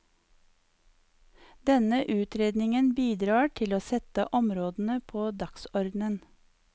Denne utredningen bidrar til å sette områdene på dagsordenen.